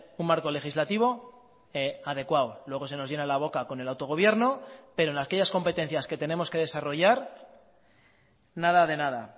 un marco legislativo adecuado luego se nos llena la boca con el autogobierno pero en aquellas competencias que tenemos que desarrollar nada de nada